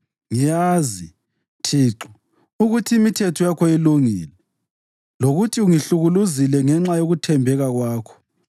Ngiyazi, Thixo, ukuthi imithetho yakho ilungile, lokuthi ungihlukuluzile ngenxa yokuthembeka kwakho.